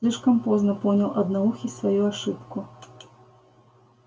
слишком поздно понял одноухий свою ошибку